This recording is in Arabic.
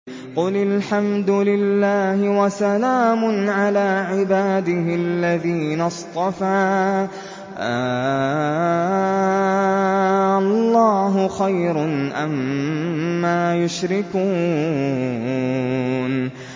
قُلِ الْحَمْدُ لِلَّهِ وَسَلَامٌ عَلَىٰ عِبَادِهِ الَّذِينَ اصْطَفَىٰ ۗ آللَّهُ خَيْرٌ أَمَّا يُشْرِكُونَ